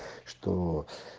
что